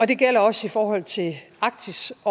det gælder også i forhold til arktis